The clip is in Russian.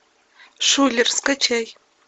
шуллер скачай